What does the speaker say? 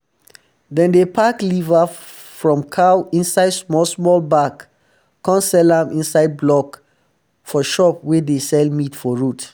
dem dey pack liver from cow inside small um small bag come sell am inside block um for shop wey dey sell meat for road